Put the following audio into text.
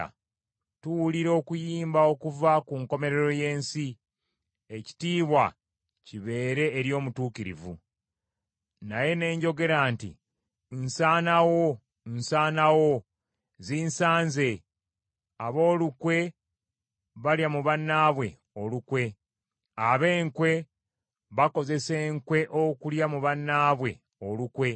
Tuwulira okuyimba okuva ku nkomerero y’ensi, “Ekitiibwa kibeere eri Omutuukirivu.” Naye ne njogera nti, “Nsanawo, nsanawo. Zinsaze. Ab’olukwe balya mu bannaabwe olukwe, Ab’enkwe bakozesa enkwe okulya mu bannaabwe olukwe.”